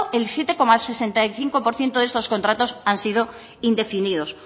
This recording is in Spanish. el siete coma sesenta y cinco por ciento de estos contratos han sido indefinidos